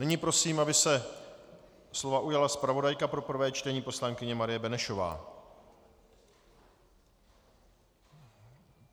Nyní prosím, aby se slova ujala zpravodajka pro prvé čtení poslankyně Marie Benešová.